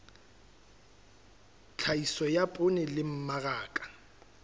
tlhahiso ya poone le mmaraka